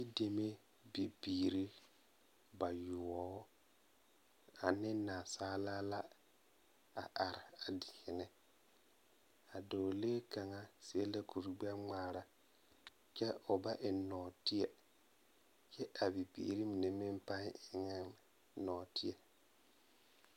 Yideme bibirii bayoɔbo ane nansaale la a are a deɛne a dɔɔlee kaŋa seɛ kuri gbɛŋmaraa kyɛ o ba eŋ nɔɔteɛ kyɛ ka bibiiri mine pãã eŋ nɔɔteɛ